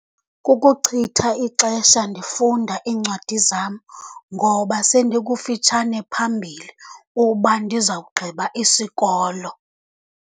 Kukuchitha ixesha ndifunda iincwadi zam, ngoba sendikufitshane phambili uba ndizawugqiba isikolo.